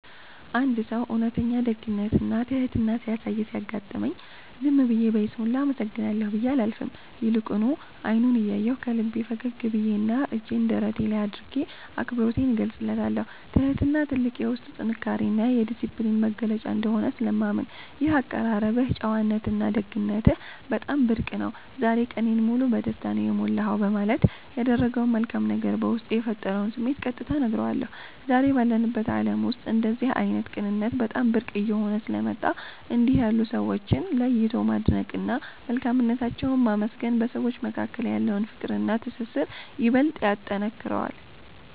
አንድ ሰው እውነተኛ ደግነትና ትሕትና ሲያሳይ ሲያጋጥመኝ፣ ዝም ብዬ በይስሙላ “አመሰግናለሁ” ብዬ አላልፍም፤ ይልቁኑ አይኑን እያየሁ፣ ከልቤ ፈገግ ብዬና እጄን ደረቴ ላይ አድርጌ አክብሮቴን እገልጽለታለሁ። ትሕትና ትልቅ የውስጥ ጥንካሬና የዲስፕሊን መገለጫ እንደሆነ ስለማምን፣ “ይህ የአቀራረብህ ጨዋነትና ደግነትህ በጣም ብርቅ ነው፤ ዛሬ ቀኔን ሙሉ በደስታ ነው የሞላኸው” በማለት ያደረገው መልካም ነገር በውስጤ የፈጠረውን ስሜት ቀጥታ እነግረዋለሁ። ዛሬ ባለንበት ዓለም ውስጥ እንደዚህ ዓይነት ቅንነት በጣም ብርቅ እየሆነ ስለመጣ፣ እንዲህ ያሉ ሰዎችን ለይቶ ማድነቅና መልካምነታቸውን ማመስገን በሰዎች መካከል ያለውን ፍቅርና ትስስር ይበልጥ ያጠነክረዋል።